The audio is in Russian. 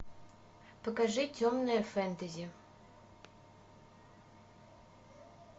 покажи темное фэнтези